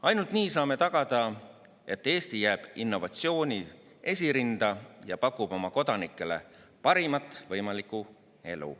Ainult nii saame tagada, et Eesti jääb innovatsiooni esirinda ja pakub oma kodanikele parimat võimalikku elu.